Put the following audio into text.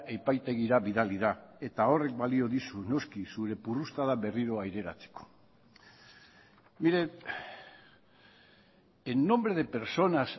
epaitegira bidali da eta horrek balio dizu noski zure purrustada berriro aireratzeko mire en nombre de personas